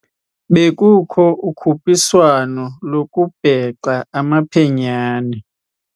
Bekukho ukhutshiswano lokubhexa amaphenyane.